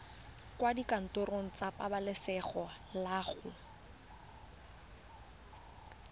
kwa dikantorong tsa pabalesego loago